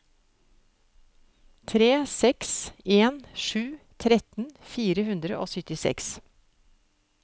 tre seks en sju tretten fire hundre og syttiseks